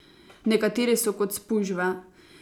Nekateri so kot spužve.